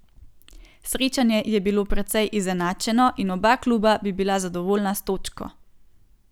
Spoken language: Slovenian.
Srečanje je bilo precej izenačeno in oba kluba bi bila zadovoljna s točko.